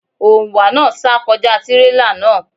Òǹwà náà sá kọjá tírélà náà.